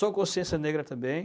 Sou consciência negra também.